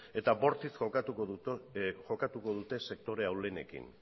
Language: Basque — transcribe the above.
eta bortitz jokatuko dute sektore ahulenekin